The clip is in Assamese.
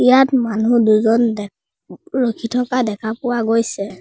ইয়াত মানু্হ দুজন দেখ ৰাখি থকা দেখা পোৱা গৈছে।